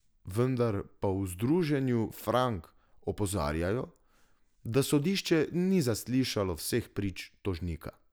Vendar pa v Združenju Frank opozarjajo, da sodišče ni zaslišalo vseh prič tožnika.